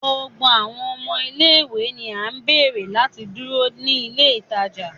Gbogbo awọn ọmọ ile-iwe ni a beere lati duro ni ile itaja